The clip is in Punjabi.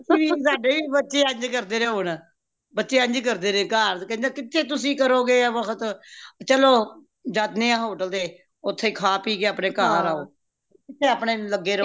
ਅਸੀਂ ਵੀ ਸਾਡੇ ਵੀ ਬੱਚੇ ਇੰਜ ਕਰਦੇ ਨੇ ਹੋਣ ਬੱਚੇ ਇੰਜ ਕਰਦੇ ਨੇ ਘਾਰ ਕੇਂਦੇ ਕਿਥੇ ਤੁਸੀਂ ਕਰੋਗੇ ਏਹ ਵਖ਼ਤ ਚਲੋ ਜਾਣੇ ਹਾਂ hotel ਤੇ ਓਥੇ ਹੀ ਖਾਂ ਪੀਹ ਕੇ ਆਪਣੇ ਘਾਰ ਆਓ ਕਿਥੇ ਆਪਣੇ ਲਗੇ ਰਹੋਗੇ